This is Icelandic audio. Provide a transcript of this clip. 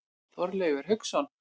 Þorleifur Hauksson.